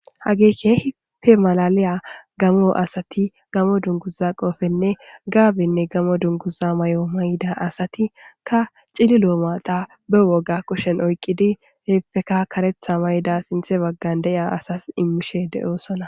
hage keehipe malaliya gamo asati gamo dunguza qoofenne gaabinne gamo dunguza may7o mayda asati ka cili loo maata be woga kushen oyqqidi heepfeka karetha mayda sinthe baggan de7a asas immishe de7oosona